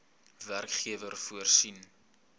werkgewer voorsien